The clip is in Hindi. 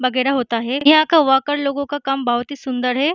वगैरह होता है। यहाँ के वर्कर लोगो का काम बहोत ही सुंदर है।